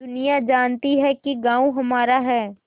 दुनिया जानती है कि गॉँव हमारा है